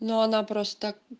но она просто так